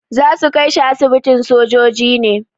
Za su kai shi asibitin sojoji ne.